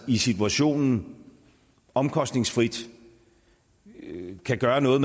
i situationen omkostningsfrit kan gøre noget